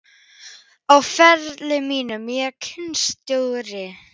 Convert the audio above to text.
Á ferli mínum sem knattspyrnustjóri?